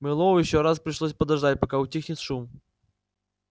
мэллоу ещё раз пришлось подождать пока утихнет шум